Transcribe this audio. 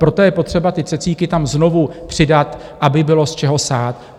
Proto je potřeba ty cecíky tam znovu přidat, aby bylo z čeho sát.